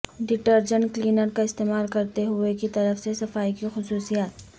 detergent cleaner کا استعمال کرتے ہوئے کی طرف سے صفائی کی خصوصیات